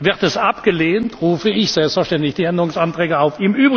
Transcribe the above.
Wird es abgelehnt, rufe ich selbstverständlich die Änderungsanträge auf.